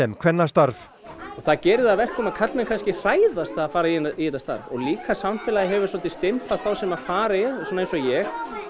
kvennastarf og það gerir það að verkum að karlmenn kannski hræðast að fara í þetta starf og líka að samfélagið hefur dálítið stimplað þá sem fara í þetta eins og ég